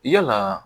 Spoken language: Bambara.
Yalaa